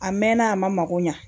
A mɛnna a mako ɲɛ